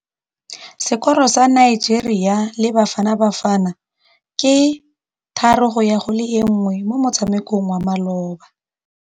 Sekôrô sa Nigeria le Bafanabafana ke 3-1 mo motshamekong wa malôba.